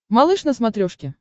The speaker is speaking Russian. малыш на смотрешке